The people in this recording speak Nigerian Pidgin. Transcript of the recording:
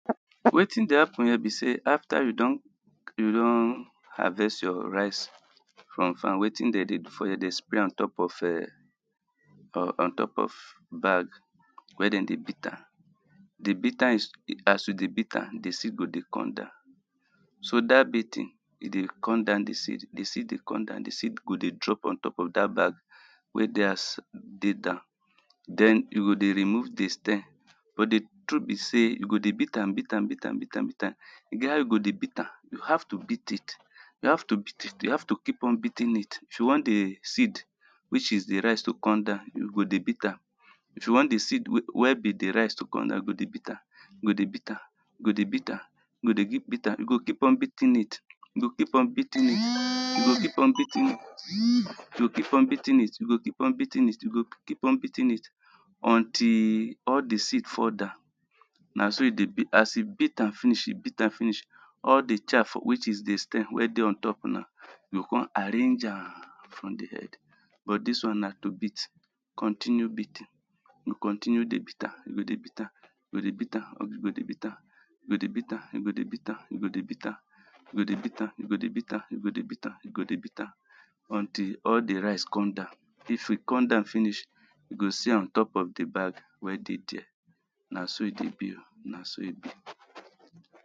wetin dey happen here be say after you don you don harvest your rice from farm wetin de dey do for here de spray am ontop of um or ontop of bag wey den dey beat am di beat am as you dey beat am di seed go de come down so dat beating e de come down di seed di seed dey come down di seed go dey drop ontop of dat bag wey de as de down den you go de remove di s ten but di trut be say you go dey beat am beat am beat am beat am beat am e get as how you go de beat am you have to beat it you have to beat it you have to keep on beating it if you want di seed which is di rice to come down you go dey beat am if you want di seed we wey be di rice to come down go dey beat am go dey beat am go dey beat am go de keep beat am you go keep on beating it you go keep on beating it you go keep on beating it you go keep on beating it you go keep on beating it you go keep on beating it until all di seed fall down na so e de be as you beat am finish you beat am finish all di chaf which is di stem we de ontop na you go come arrange am from di head but dis one na to beat continue beating you continue dey beat am you go dey beat am you go dey beat am you go de beat am you go dey beat am you go dey beat am you go dey beat am you go dey beat am you go dey beat am you go dey beat am you go dey beat am until all di rice come down if e come down finish you go see am ontop of di bag wey de dere na so e dey be na so e be